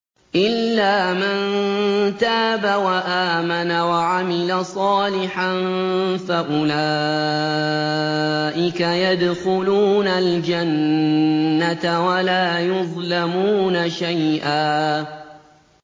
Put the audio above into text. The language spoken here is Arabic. إِلَّا مَن تَابَ وَآمَنَ وَعَمِلَ صَالِحًا فَأُولَٰئِكَ يَدْخُلُونَ الْجَنَّةَ وَلَا يُظْلَمُونَ شَيْئًا